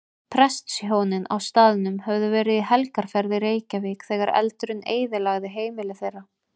Prestshjónin á staðnum höfðu verið í helgarferð í Reykjavík þegar eldurinn eyðilagði heimili þeirra.